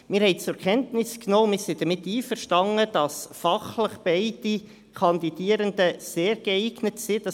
Wir haben zur Kenntnis genommen und sind damit einverstanden, dass fachlich beide Kandidierenden sehr geeignet sind;